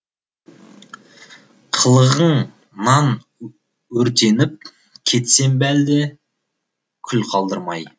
қылығыңнан өртеніп кетсем бе әлде күл қалдырмай